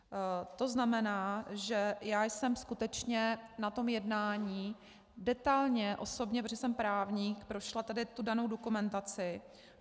To znamená, že já jsem skutečně na tom jednání detailně osobně, protože jsem právník, prošla tady tu danou dokumentaci.